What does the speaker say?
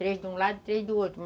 Três de um lado, três do outro.